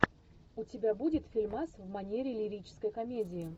у тебя будет фильмас в манере лирической комедии